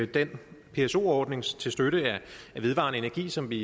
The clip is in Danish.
den pso ordning til støtte af vedvarende energi som vi